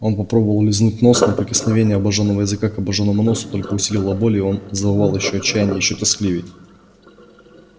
он попробовал лизнуть нос но прикосновение обоженного языка к обожжённому носу только усилило боль и он завыл ещё отчаянней ещё тоскливей